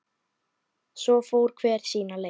Svo fór hver sína leið.